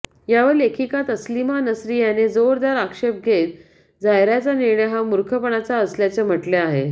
यावर लेखिका तस्लिमा नसरी यांनी जोरदार आक्षेप घेत झायराचा निर्णय हा मुर्खपणा असल्याचे म्हटले आहे